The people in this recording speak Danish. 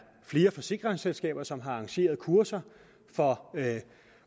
flere forsikringsselskaber som har arrangeret kurser for